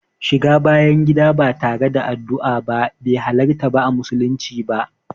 Shiga bayan gida ba tare da yin addua ba be halarta a musulunci ba.